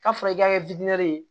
K'a fɔra i k'a kɛ ye